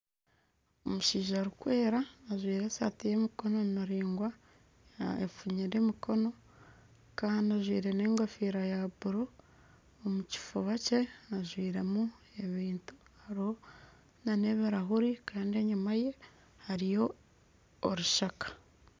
Omushaija arikwera ajwaire esaati y'emikono miraingwa efunyire emikono kandi ajwaire n'egofiira ya buuru omu kifuba kye ajwairemu ebintu hariho na n'ebirahuuri kandi enyuma ye hariyo orushaka.